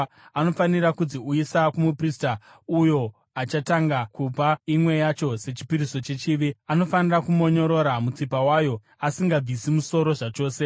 Anofanira kudziuyisa kumuprista uyo achatanga kupa imwe yacho sechipiriso chechivi. Anofanira kumonyorora mutsipa wayo asingabvisi musoro zvachose.